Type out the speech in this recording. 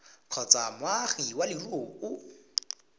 kgotsa moagi wa leruri o